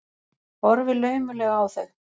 Horfi laumulega á þau.